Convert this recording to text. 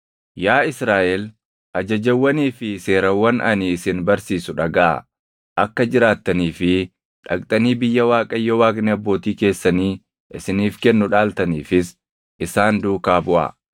Yaa Israaʼel, ajajawwanii fi seerawwan ani isin barsiisu dhagaʼaa. Akka jiraattanii fi dhaqxanii biyya Waaqayyo Waaqni abbootii keessanii isiniif kennu dhaaltaniifis isaan duukaa buʼaa.